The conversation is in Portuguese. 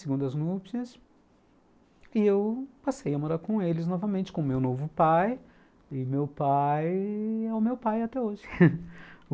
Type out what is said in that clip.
Segundo as núpcias e eu passei a morar com eles novamente, com o meu novo pai e meu pai é o meu pai até hoje.